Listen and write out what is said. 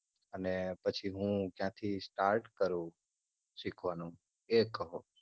અને પછી હું ક્યાથી start કરું સીખવાનું એ કહો.